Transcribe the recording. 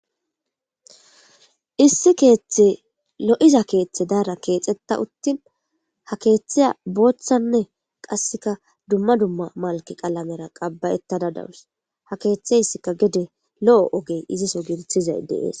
issi keeththe lo7iza keeththe daara keexetta uttin ha keeththeya booththanne qasseka dumma dumma malki qalamera qabbayettada dawus ha keeththe issika gede lo7o ogey iziso giirithizay deees